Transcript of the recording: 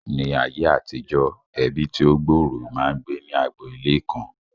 Ní ayé àtijọ́, ẹbí tí ó gbòòrò máa ń gbé ní agbo ilé kan